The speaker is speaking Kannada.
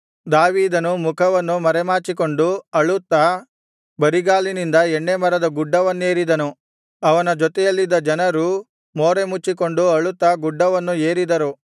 ದಾವೀದನು ಮುಖವನ್ನು ಮರೆಮಾಚಿಕೊಂಡು ಅಳುತ್ತಾ ಬರಿಗಾಲಿನಿಂದ ಎಣ್ಣೆಮರದ ಗುಡ್ಡವನ್ನೇರಿದನು ಅವನ ಜೊತೆಯಲ್ಲಿದ್ದ ಜನರೂ ಮೋರೆಮುಚ್ಚಿಕೊಂಡು ಅಳುತ್ತಾ ಗುಡ್ಡವನ್ನು ಏರಿದರು